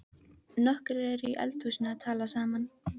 Nokkrir eru í eldhúsinu að tala saman.